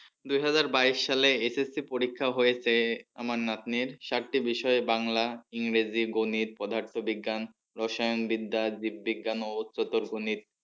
দুই হাজার বাইশ সালে SSC পরীক্ষা হয়েছে আমার নাতনির চারটি বিষয়ে বাংলা ইংরেজি গণিত পদার্থ বিজ্ঞান রসায়ন বিদ্যা জীব বিজ্ঞান ও চতুর গণিত